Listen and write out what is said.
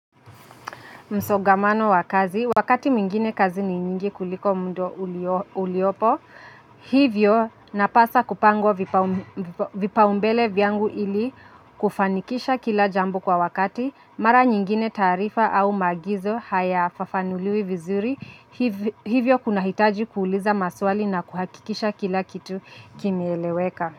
Msongamano wa kazi, wakati mwingine kazi ni nyingi kuliko mda uliopo, hivyo napasa kupangwa vipaumbele vyangu ili kufanikisha kila jambo kwa wakati, mara nyingine taarifa au maagizo hayafafanuliwi vizuri, hivyo kunahitaji kuuliza maswali na kuhakikisha kila kitu kimeeleweka.